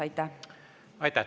Aitäh!